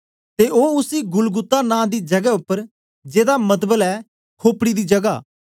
ते ओ उसी गुलगुता नां दी जगै उपर जेदा मतबल ऐ खोपड़ी दी जगह